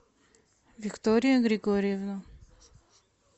виктория григорьевна